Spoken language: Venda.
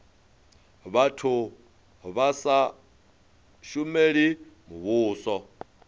vhathu vha sa shumeli muvhuso